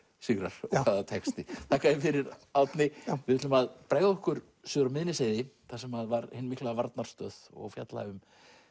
sigrar og hvaða texti já þakka þér fyrir Árni já við ætlum að bregða okkur suður á Miðnesheiði þar sem var hin mikla varnarstöð og fjalla um